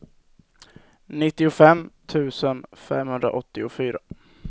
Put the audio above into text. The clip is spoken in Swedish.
nittiofem tusen femhundraåttiofyra